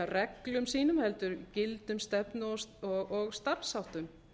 reglum sínum heldur gildum stefnu og starfsháttum